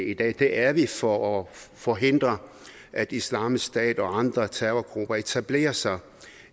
i dag det er vi for at forhindre at islamisk stat og andre terrorgrupper etablerer sig